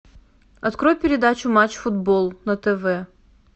открой передачу матч футбол на тв